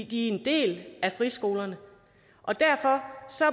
de er en del af friskolerne derfor